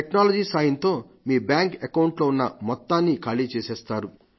technology సాయంతో మీ bank account లో ఉన్న మొత్తాన్ని ఖాళీ చేసేస్తారు